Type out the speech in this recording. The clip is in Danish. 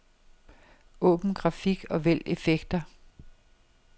Åbn grafik og vælg effekter.